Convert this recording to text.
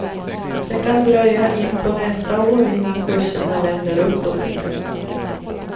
Det kan dröja in på nästa år innan kurserna vänder uppåt igen.